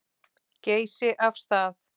Geysi af stað.